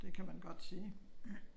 Det kan man godt sige